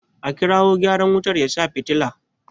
A kirawo gyaran wutar ya sa fitila!